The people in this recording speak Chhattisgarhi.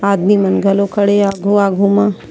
आदमी मन घलो खड़े हे आघु-आघु मा--